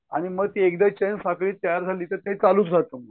आणि मग ते एकदा चैन साखळी तयार झाली तर मग ते चालूचं राहतं मग.